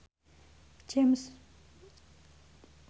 James McAvoy kuwi alumni Wageningen University